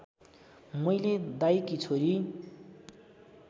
मैले दाइकी छोरी